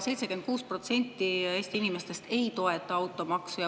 76% Eesti inimestest ei toeta automaksu.